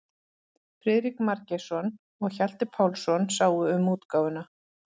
Friðrik Margeirsson og Hjalti Pálsson sáu um útgáfuna.